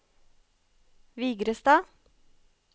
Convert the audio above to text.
Vigrestad